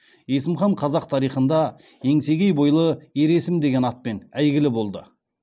есім хан қазақ тарихында еңсегей бойлы ер есім деген атпен әйгілі болды